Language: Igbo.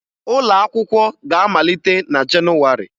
Ụlọakwụkwọ ga-amalite na Jenụwarị